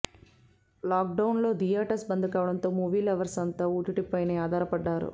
lock డౌన్లో theatres bandh కావడంతో movie lovers అంతా ఓటీటీపైనే ఆధారపడ్డారు